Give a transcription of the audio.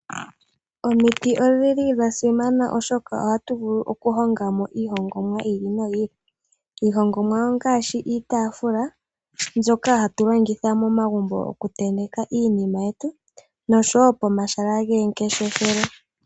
Omiti odhili dhasimana, oshoka ohatu vulu okuhonga mo iihongomwa yi ili noyi ili mbyoka hatu longitha okutenteka iinima yetu. Iihongomwa ongaashi iitaafula mbyono hatu longitha momagumbo nosho wo pomahala gomangeshefelo.